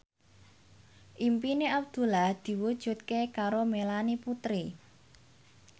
impine Abdullah diwujudke karo Melanie Putri